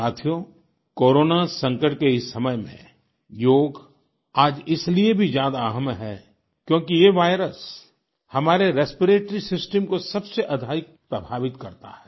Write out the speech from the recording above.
साथियो कोरोना संकट के इस समय में योग आज इसलिए भी ज्यादा अहम है क्योंकि ये वायरस हमारे रेस्पिरेटरी सिस्टम को सबसे अधिक प्रभावित करता है